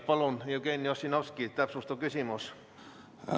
Palun, Jevgeni Ossinovski, täpsustav küsimus!